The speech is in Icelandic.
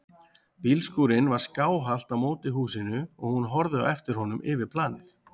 Bílskúrinn var skáhallt á móti húsinu og hún horfði á eftir honum yfir planið.